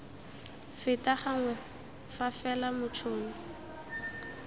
feta gangwe fa fela motšhoni